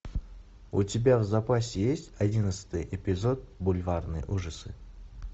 у тебя в запасе есть одиннадцатый эпизод бульварные ужасы